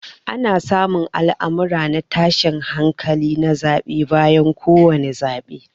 Ana samun al'amurran na tashin hankali na zabe bayan ko wani zabe.